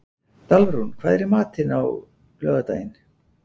Dalrún, hvað er í matinn á laugardaginn?